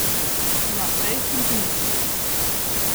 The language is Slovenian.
Naprej s centimetri.